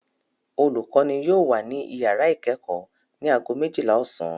Olùkọ́ní yóò wà ní ìyàrá ìkẹ́kọ̀ọ́ ní ago méjìlá ọ̀sán.